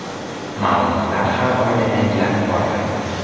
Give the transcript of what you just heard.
Ma’lumotlar har oyda yangilanib boriladi.